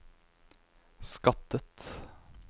skattet